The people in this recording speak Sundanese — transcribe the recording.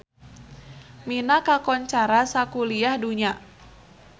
Mina kakoncara sakuliah dunya